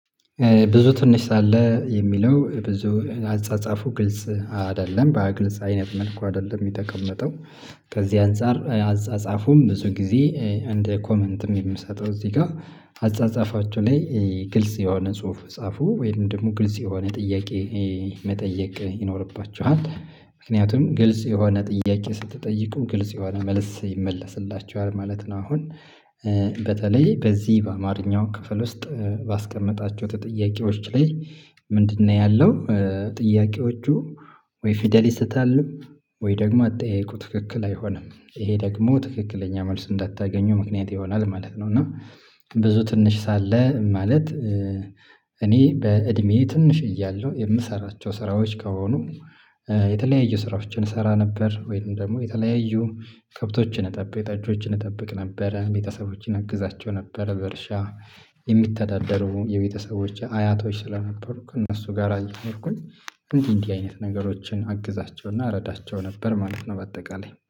ብዙ ትንሽ አለ የሚለው ብዙ አጻጻፉ ግልጽ አይደለም በግልጽ አይነት መልኩ አይደለም የተቀመጠው። ከዚህ አንፃር አጻጻፉም ብዙ ጊዜ እንደ ኮመንትም የምሰጠው እዚህ ጋር። አጻጻፋቸው ላይ ግልጽ የሆነ ጽሁፍ ጻፉ ወይም ደግሞ ግልጽ የሆነ ጥያቄ መጠየቅ ይኖርባችኋል። ምክንያቱም ግልጽ የሆነ ጥያቄ ስትጠይቁ ግልጽ የሆነ መልስ ይመለስላችኋል ማለት ነው። አሁን በተለይ በዚህ በአማርኛው ክፍል ውስጥ ባስቀመጣቸው ጥያቄዎች ላይ። ምንድነው ያለው? ጥያቄዎቹ ወይ ፊደል ይሰታሉ? ወይ ደግሞ አጠያየቁ ትክክል አይሆንም። ይሄ ደግሞ ትክክለኛ መልስ እንዳታገኙ ምክንያት ይሆናል ማለት ነው። እና ብዙ ትንሽ ሳለ ማለት። እኔ በእድሜዬ ትንሽ እያለሁ የምሰራቸው ስራዎች ከሆኑ። የተለያዩ ስራዎችን እሰራ ነበር ወይም ደግሞ የተለያዩ ከብቶችን እጠብቅ ጥጆችን እጠብቅ ነበረ ቤተሰቦችን አግዛቸው ነበረ። በእርሻ የሚተዳደሩ የቤተሰቦች አያቶች ስለነበሩ ከእነሱ ጋር አየኖርኩኝ። እንዲህ እንዲህ አይነት ነገሮችን አግዛቸውና እረዳቸው ነበር ማለት ነው። በአጠቃላይ